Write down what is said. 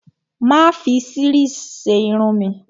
Mà á fi series ṣe irun mi.